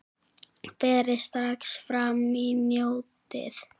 Berið strax fram og njótið!